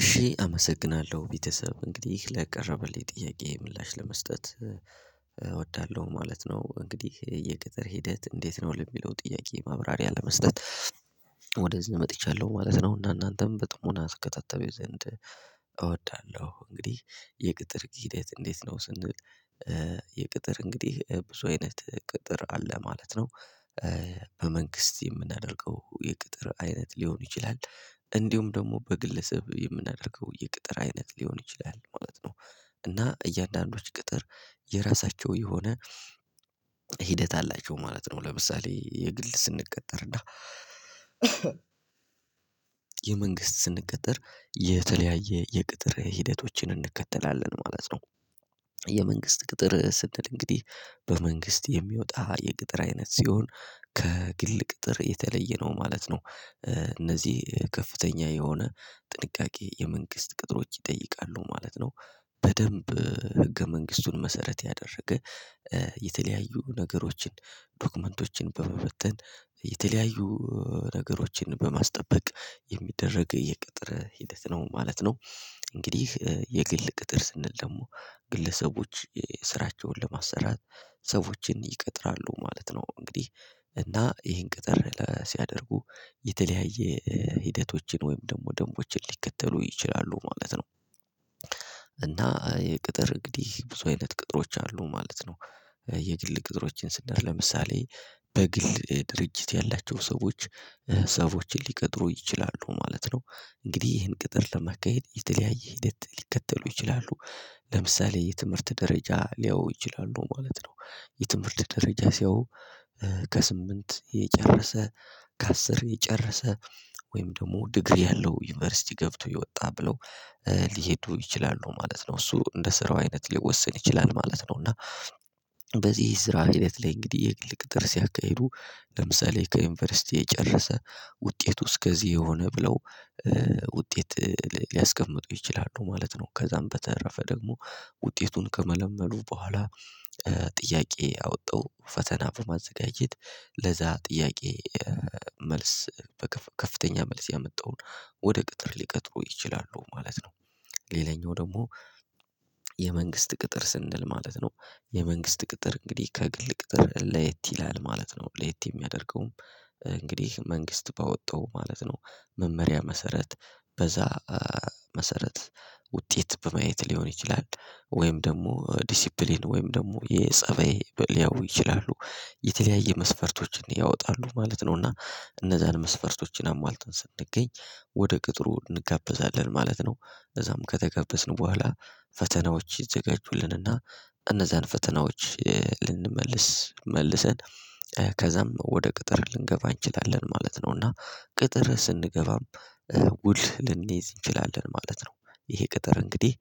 እሺ አመሰግናለሁ ቤተሰብ እንግዲህ ለቀረበልኝ ጥያቄ ምላሽ ለመስጠት እወዳለሁ ማለት ነው። እንግዲህ የቅጥር ሂደት እንዴት? ነው ለሚለው ጥያቄ ማብራሪያ ለመስጠት ወደዚህ መጥቻለሁ ማለት ነው። እና እናንተም በሞና ትከታተሉኝ ዘንድ እወዳለሁ። እንግዲህ የቅጥር ጊዜ እንዴት ነው ስንል? የቅጥር እንግዲህ ብዙ አይነት ቅጥር አለ ማለት ነው። በመንግስት የምናደርገው የቅጥር አይነት ሊሆን ይችላል። እንዲሁም ደግሞ በግለሰብ የምናደርገው የቅጥር አይነት ሊሆን ይችላል ማለት ነው። እና እያንዳንዶች ቅጥር የራሳቸው የሆነ ሂደት አላቸው ማለት ነው። ለምሳሌ የግል ስንቀጠር እና የመንግስት ስንቀጠር የተለያየ የቅጥር ሂደቶችን እንከተላለን ማለት ነው። የመንግስት ቅጥር ስንል እንግዲህ በመንግስት የሚወጣ የቅጥር አይነት ሲሆን ከግል ቅጥር የተለየ ነው ማለት ነው። እነዚህ ከፍተኛ የሆነ ጥንቃቄ የመንግስት ቅጥሮች ይጠይቃሉ ማለት ነው። በደንብ ህገ መንግስቱን መሰረት ያደረገ የተለያዩ ነገሮችን ዶክመንቶችን በመበተን የተለያዩ ነገሮችን በማስጠበቅ የሚደረግ የቅጥር ሂደት ነው ማለት ነው። እንግዲህ የግል ቅጥር ስንል ደግሞ ግለሰቦች ስራቸውን ለማሰራት ሰዎችን ይቀጥራሉ ማለት ነው። እንግዲህ እና ይሄን ቅጥር ሲያደርጉ የተለያየ ሂደቶችን ወይም ደግሞ ደንቦችን ሊከተሉ ይችላሉ ማለት ነው። እና የቅጥር እንግዲህ ብዙ አይነት ቅጥሮች አሉ ማለት ነው። የድል ቅጥሮችን ስንል ለምሳሌ በግል ድርጅት ያላቸው ሰዎች ሰዎችን ሊቀጥሩ ይችላሉ ማለት ነው። እንግዲህ ይህን ቅጥር ለመካሄድ የተለያየ ሂደት ሊከተሉ ይችላሉ ለምሳሌ የትምህርት ደረጃ ሊያዩ ይችላል ነው ማለት ነው። የትምህርት ደረጃ ሲያዩ ከስምንት የጨረሰ ከአስር የጨረሰ ወይም ደግሞ ዲግሪ ያለው ዩኒቨርሲቲ ገብቶ የወጣ ብለው ሊሄዱ ይችላሉ ማለት ነው። እሱ እንደ ስራው አይነት ሊወሰን ይችላል ማለት ነው። እና በዚህ ስራ ሂደት ላይ እንግዲህ የግል ቅጥር ሲያካሄዱ ለምሳሌ ከዩኒቨርሲቲ የጨረሰ ውጤቱ እስከዚህ የሆነ ብለው ውጤት ሊያስቀምጡ ይችላሉ ማለት ነው። ከዛም በተረፈ ደግሞ ውጤቱን ከመለመሉ በኋላ ጥያቄ አወጣው ፈተና በማዘጋጀት ለዛ ጥያቄ መልስ ከፍተኛ መልስ ያመጣውን ወደ ቅጥር ሊቀጥሩ ይችላሉ ማለት ነው። ሌላኛው ደግሞ የመንግስት ቅጥር ስንል ማለት ነው የመንግስት ቅጥር እንግዲህ ከግል ቅጥር ለየት ይላል ማለት ነው። ለየት የሚያደርገውም እንግዲህ መንግስት ባወጣው ማለት ነው መመሪያ መሰረት በዛ መሰረት ውጤት በማየት ሊሆን ይችላል ወይም ደግሞ ዲሲፕሊን ወይም ደግሞ የፀበይ ሊያዩ ይችላሉ የተለያየ መስፈርቶችን ያወጣሉ ማለት ነውና እነዛን መስፈርቶችን አሟልተን ስንገኝ ወደ ቅጥሩ እንጋበዛለን ማለት ነው። እዛም ከተጋበዝን በኋላ ፈተናዎች ይዘጋጁልንና እነዛን ፈተናዎች ልንመልስ መልሰን ከዛም ወደ ቅጥር ልንገባ እንችላለን ማለት ነው። እና ቅጥር ስንገባም ውል ልንይዝ እንችላለን ማለት ነው ይሄ ቅጥር እንግዲህ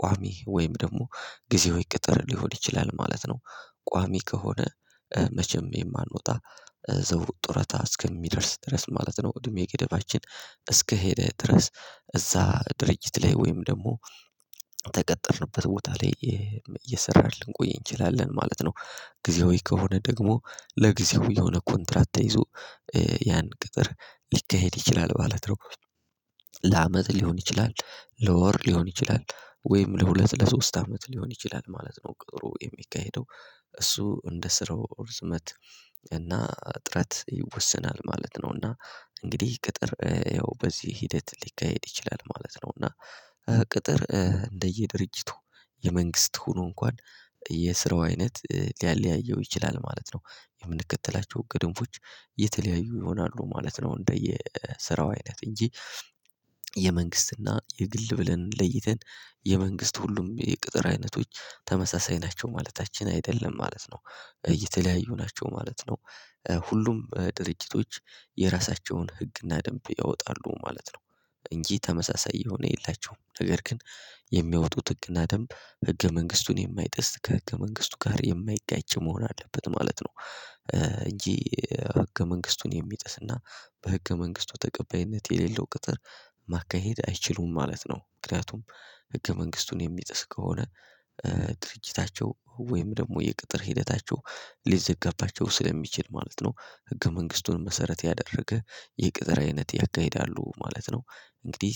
ቋሚ ወይም ደግሞ ጊዜያዊ ቅጥር ሊሆን ይችላል ማለት ነው። ቋሚ ከሆነ መቼም የማንወጣ እዘው ጡረታ እስከሚደርስ ድረስ ማለት ነው እድሜ ገደባችን እስከሄደ ድረስ እዛ ድርጅት ላይ ወይም ደግሞ ተቀጠርንበት ቦታ ላይ እየሰራህ ልንቆይ እንችላለን ማለት ነው። ጊዜያዊ ከሆነ ደግሞ ለጊዜው የሆነ ኮንትራት ተይዞ ያን ቅጥር ሊካሄድ ይችላል ማለት ነው። ለአመት ሊሆን ይችላል ለወር ሊሆን ይችላል ወይም ለሁለት ለሶስት አመት ሊሆን ይችላል ማለት ነው። ቅጥሩ የሚካሄደው እሱ እንደ ስራው ርዝመት እና እጥረት ይወሰናል ማለት ነው። እና እንግዲህ ቅጥር ያው በዚህ ሂደት ሊካሄድ ይችላል ማለት ነው። እና ቅጥር እንደየ ድርጅቱ የመንግስት ሆኖ እንኳን የስራው አይነት ሊያለያየው ይችላል ማለት ነው። የምንከተላቸው ህገ ደንቦች የተለያዩ ይሆናሉ ማለት ነው። እንደየ ስራው አይነት እንጂ የመንግስትና የግል ብለን ለይተን የመንግስት ሁሉም የቅጥር አይነቶች ተመሳሳይ ናቸው ማለታችን አይደለም ማለት ነው። እየተለያዩ ናቸው ማለት ነው። ሁሉም ድርጅቶች የራሳቸውን ህግና ደንብ ያወጣሉ ማለት ነው። እንጂ ተመሳሳይ የሆነ የላቸውም ነገር ግን የሚያወጡት ህግና ደንብ ህገ መንግስቱን የማይጥስ ከህገ መንግስቱ ጋር የማይጋጭ መሆን አለበት ማለት ነው። እንጂ ህገ መንግስቱን የሚጥስና በህገ መንግስቱ ተቀባይነት የሌለው ቅጥር ማካሄድ አይችሉም ማለት ነው። ምክንያቱም ህገ መንግስቱን የሚጥስ ከሆነ ድርጅታቸው ወይም ደግሞ የቅጥር ሂደታቸው ሊዘጋባቸው ስለሚችል ማለት ነው። ህገ መንግስቱን መሰረት ያደረገ የቅጥር አይነት ያካሂዳሉ ማለት ነው። እንግዲህ